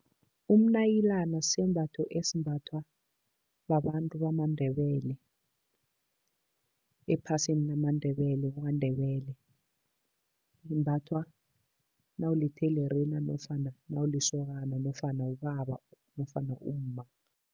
Umnayilana sisembatho esimbathwa babantu bamaNdebele ephasini lamaNdebele KwaNdebele. Limbathwa nawulitherina nofana nawulisokana nofana ubaba nofana umma.